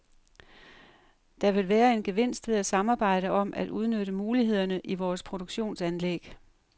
Der vil være en gevinst ved at samarbejde om at udnytte mulighederne i vores produktionsanlæg.